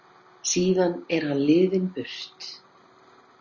Síðan er hann liðinn burt.